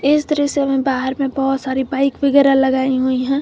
इस दृश्य में बाहर में बहुत सारी बाइक वगैरह लगाई हुई हैं।